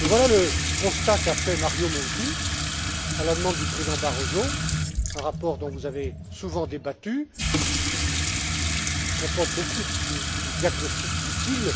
Et voilà le constat qu'a fait Mario Monti, à la demande du président Barroso, dans un rapport dont vous avez souvent débattu et qui comporte beaucoup de diagnostics utiles.